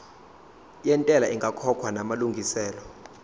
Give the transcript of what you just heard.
yentela ingakakhokhwa namalungiselo